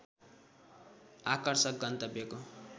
आकर्षक गन्तव्यको